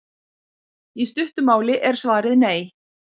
Í stuttu máli er svarið nei.